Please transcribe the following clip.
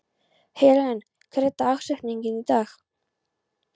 Helen, hver er dagsetningin í dag?